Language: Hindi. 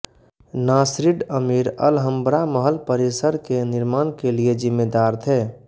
नास्रिड अमीर अलहंब्रा महल परिसर के निर्माण के लिए जिम्मेदार थे